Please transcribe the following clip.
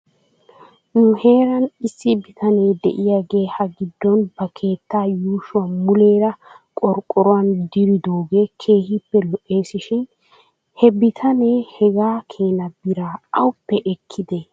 Nu heeran issi bitane de'iyaagee hagiddon ba keettaa yuushuwaa muleera qorqqoruwan diridoogee keehippe lo'es shin be bitanee hegaa keena biraa awppe ekkidee?